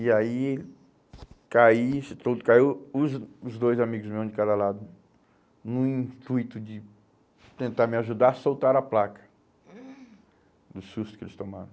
E aí, caí, esse toldo caiu, os os dois amigos meus, um de cada lado, no intuito de tentar me ajudar, soltaram a placa do susto que eles tomaram.